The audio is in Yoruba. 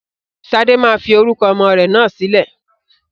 Sade máa fi orúkọ ọmọ rẹ náà sílẹ̀